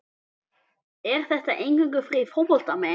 Er þetta eingöngu fyrir fótboltamenn?